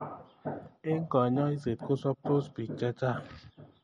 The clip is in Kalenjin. Eng kanyoiset kosaptos bik chechang.